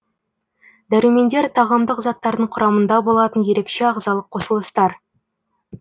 дәрумендер тағамдық заттардың құрамында болатын ерекше ағзалық қосылыстар